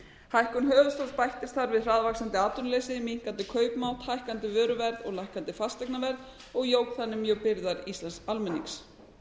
hækkun höfuðstóls bættist þar við hraðvaxandi atvinnuleysi minnkandi kaupmátt hækkandi vöruverð og lækkandi fasteignaverð og jók þannig mjög byrðar íslensks almennings